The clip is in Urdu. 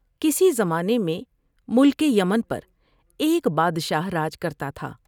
کسی زمانے میں ملک یمن پر ایک بادشاہ راج کرتا تھا ۔